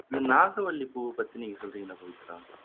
நாட்டுமல்லி பூவைப்பத்தி நீங்க சொல்றீங்க அப்படின்னு எடுத்துக்கலாமா